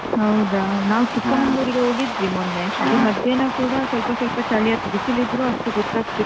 ಹೌದಾ ನಾವ್ ಚಿಕ್ಕಮಗಳೂರಿಗೆ ಹೋಗಿದ್ದ್ವಿ ಮೊನ್ನೆ ಅಲ್ಲಿ ಮಧ್ಯಾಹ್ನ ಕೂಡ ಸ್ವಲ್ಪ ಚಳಿ ಆಗ್ ಬಿಸಿಲಿದ್ದ್ರೂ ಅಷ್ಟು ಗೊತ್ತಾಗ್ತಿರ್ಲಿಲ್ಲ.